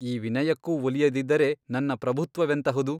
ಈ ವಿನಯಕ್ಕೂ ಒಲಿಯದಿದ್ದರೆ ನನ್ನ ಪ್ರಭುತ್ವವೆಂತಹುದು?